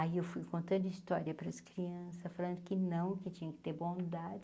Aí eu fui contando história para as crianças, falando que não, que tinha que ter bondade.